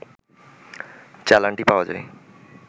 চালানটি পাওয়া যায়